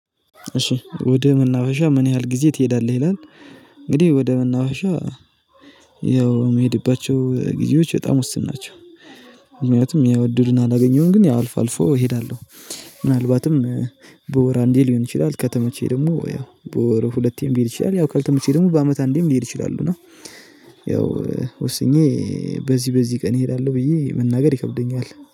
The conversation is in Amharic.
እሺ ወደ መናፈሻ ምን ያህል ጊዜ ትሄዳለህ ይላል? እንግዲህ ወደ መናፈሻ ያው የሚሄድባቸው ጊዜዎች በጣም ወስን ናቸው። ምክንያቱም ያወድዱና አላገኘሁም ግን ያው አልፎ አልፎ እሄዳለሁ። ምናልባትም በወር አንዴ ሊሆን ይችላል ከተመቸኝ ደግሞ ያው በወር ሁለቴም ሊሄድ ይችላል ያው ከተመቸኝ ደግሞ በአመት አንዴም ሊሄድ ይችላሉ። እና ያው ወስኜ በዚህ በዚህ ቀን እሄዳለሁ ብዬ መናገር ይከብደኛል